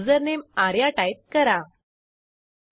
नंतर सेट्रेचरनिंटरक्वेस्ट method call करू